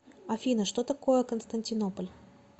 афина что такое константинополь